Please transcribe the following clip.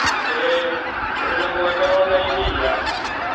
ĩĩ, tũrĩ na mũgate o na iria